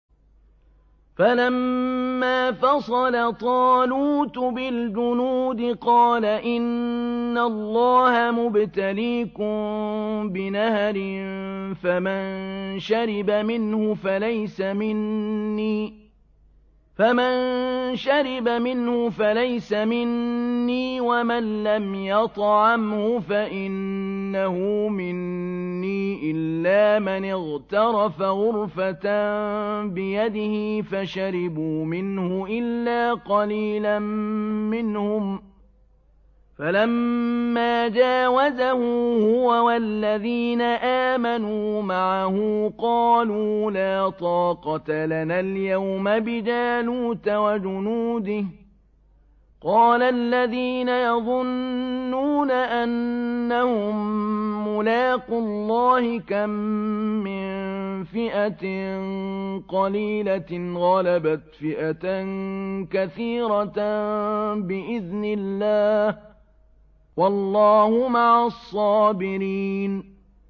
فَلَمَّا فَصَلَ طَالُوتُ بِالْجُنُودِ قَالَ إِنَّ اللَّهَ مُبْتَلِيكُم بِنَهَرٍ فَمَن شَرِبَ مِنْهُ فَلَيْسَ مِنِّي وَمَن لَّمْ يَطْعَمْهُ فَإِنَّهُ مِنِّي إِلَّا مَنِ اغْتَرَفَ غُرْفَةً بِيَدِهِ ۚ فَشَرِبُوا مِنْهُ إِلَّا قَلِيلًا مِّنْهُمْ ۚ فَلَمَّا جَاوَزَهُ هُوَ وَالَّذِينَ آمَنُوا مَعَهُ قَالُوا لَا طَاقَةَ لَنَا الْيَوْمَ بِجَالُوتَ وَجُنُودِهِ ۚ قَالَ الَّذِينَ يَظُنُّونَ أَنَّهُم مُّلَاقُو اللَّهِ كَم مِّن فِئَةٍ قَلِيلَةٍ غَلَبَتْ فِئَةً كَثِيرَةً بِإِذْنِ اللَّهِ ۗ وَاللَّهُ مَعَ الصَّابِرِينَ